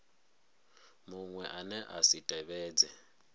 muṅwe ane a si tevhedze